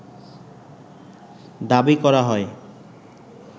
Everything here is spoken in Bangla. দাবি করা হয়